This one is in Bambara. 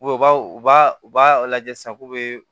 u b'a u b'a u b'a lajɛ sisan k'u bɛ